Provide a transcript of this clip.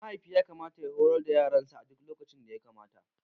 Mahaifi yakamata ya horar da yaransa a duk lokacin da yakamata.